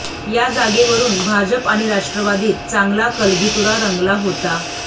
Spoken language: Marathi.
या जागेवरुन भाजप आणि राष्ट्रवादीत चांगला कलगीतुरा रंगला होता